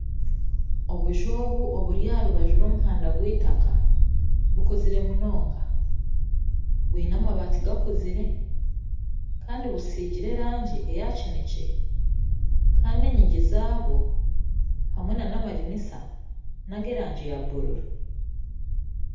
Obuju obu oburi aha rubaju rw'omuhanda gw'eitaka bukuzire munonga bwine amabati gakuzire kandi busigire erangi eya kineekye kandi enyingi zaabwo hamwe nana amadirisa nag'erangi ya bururu